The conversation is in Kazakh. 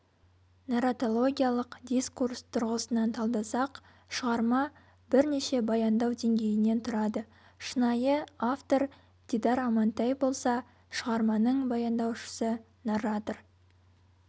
нарратологиялық дискурс тұрғысынан талдасақ шығарма бірнеше баяндау деңгейінен тұрады шынайы автор дидар амантай болса шығарманың баяндаушысы-нарратор